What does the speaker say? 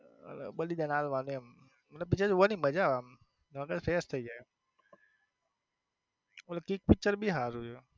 બલિદાન આલવાનું એમ picture જોવની મજા આવે મગજ fresh થઈ જાય ઓલું કિક picture બી સારું છે